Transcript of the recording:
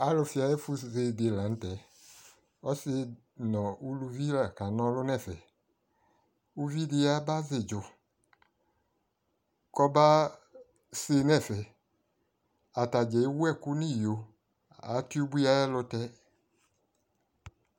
Alʋfɩ ayʋ ɛfʋse dɩ la nʋ tɛ Ɔsɩ nʋ uluvi la kana ɔlʋ nʋ ɛfɛ Uvi dɩ yabazɩ ɩdzʋ kɔbase nʋ ɛfɛ Ata dza ewu ɛkʋ nʋ iyo Atɩ ubui ayɛlʋtɛ